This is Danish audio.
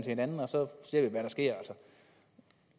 hinanden og så ser vi hvad der sker